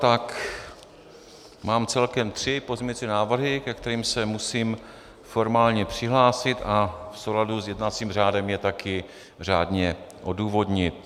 Tak mám celkem tři pozměňovací návrhy, ke kterým se musím formálně přihlásit a v souladu s jednacím řádem je taky řádně odůvodnit.